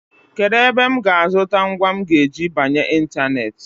Kedụ ebe m ga-azụta ngwa m ga-eji banye ịntaneetị?